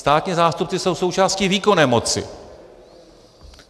Státní zástupci jsou součástí výkonné moci.